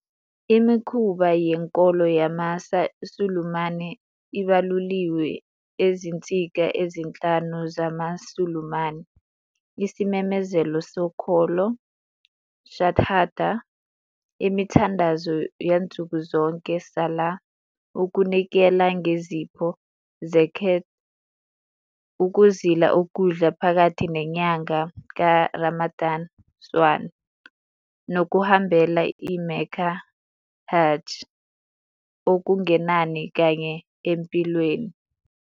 Imikhuba yenkolo yamaSulumane ibaluliwe eziNsika ezinhlanu zamaSulumane - isimemezelo sokholo, "shahadah", imithandazo yansuku zonke, "salah", ukunikela ngezipho, "zakat", ukuzila ukudla phakathi nenyanga kaRamadan, "sawm", nokuhambela eMecca, "hajj", okungenani kanye empilweni.